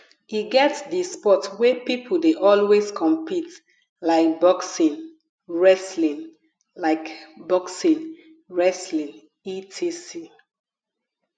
e get di sport wey pipo de always compete like boxing wrestling like boxing wrestling etc